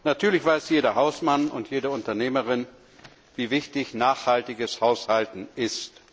Natürlich weiß jeder Hausmann und jede Unternehmerin, wie wichtig nachhaltiges Haushalten ist.